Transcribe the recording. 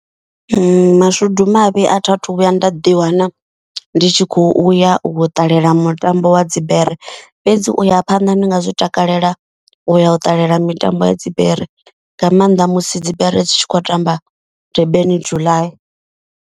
Mashudu mavhi a thi athu vhuya nda ḓiwana ndi tshi kho uya u ṱalela mutambo wa dzibere. Fhedzi uya phanḓa ndi nga zwi takalela u ya u ṱalela mitambo ya dzibere. Nga maanḓa musi dzibere dzi tshi khou tamba Durban July.